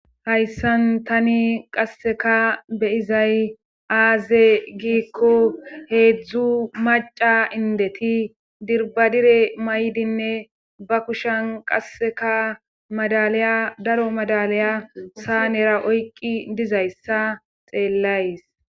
hayssan tani qasseka beyizay aaze giikko heedzdzu maca indeti dirbadire maydinne ba kushan qasseka madaliya daro madalaya saa nera oyqqi dizayssa xeellays